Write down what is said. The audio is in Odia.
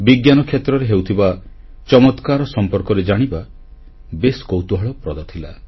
ବିଜ୍ଞାନ କ୍ଷେତ୍ରରେ ହେଉଥିବା ଚମତ୍କାର ସମ୍ପର୍କରେ ଜାଣିବା ବେଶ କୌତୁଳହପ୍ରଦ ଥିଲା